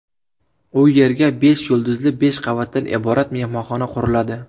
U yerga besh yulduzli besh qavatdan iborat mehmonxona quriladi.